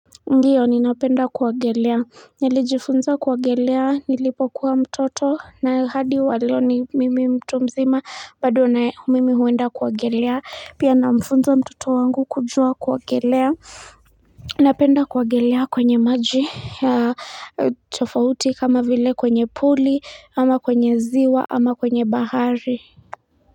Ndiyo ni napenda kuwagelea nilijifunza kuwagelea nilipokuwa mtoto na hadi waleo ni mimi mtu mzima bado na mimi huwenda kuwagelea pia namfunza mtoto wangu kujua kuwagelea Napenda kuwagelea kwenye maji ya tofauti kama vile kwenye puli ama kwenye ziwa ama kwenye bahari.